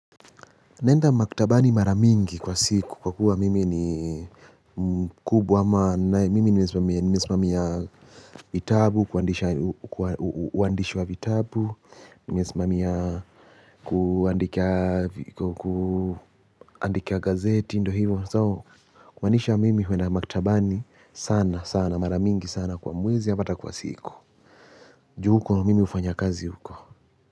Naenda maktabani mara mingi kwa siku kwakuwa mimi ni mkubwa ama mimi nimesimamia vitabu uandishi wa vitabu, nimesimamia kuandika gazeti ndo hivyo. So kumaanisha mimi huenda maktabani sana sana mara mingi sana kwa mwezi au hata kwa siku. Juu huko mimi hufanya kazi huko.